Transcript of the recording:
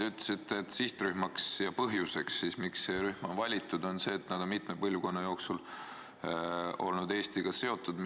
Te ütlesite, et põhjus, miks see rühm on valitud, on see, et nad on mitme põlvkonna jooksul olnud Eestiga seotud.